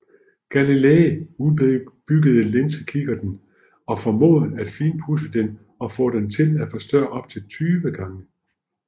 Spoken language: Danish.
Galilei udbyggede linsekikkerten og formåede at finpudse den og få den til at forstørre op til 20 gange